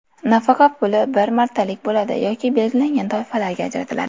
Nafaqa puli bir martalik bo‘ladi yoki belgilangan toifalarga ajratiladi.